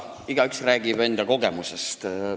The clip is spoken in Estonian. Igaüks räägib enda kogemustest.